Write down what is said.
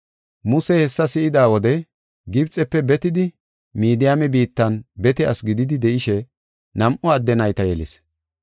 Musey hessa si7ida wode Gibxefe betidi Midiyaame biittan bete asi gididi de7ishe nam7u adde nayta yelis.